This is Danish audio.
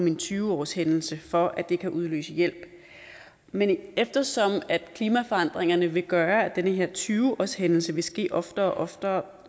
en tyve årshændelse for at det kan udløse hjælp men eftersom klimaforandringerne vil gøre at den her tyve årshændelse vil ske oftere og oftere